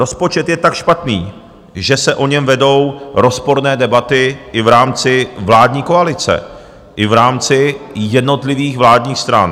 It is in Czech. Rozpočet je tak špatný, že se o něm vedou rozporné debaty i v rámci vládní koalice, i v rámci jednotlivých vládních stran.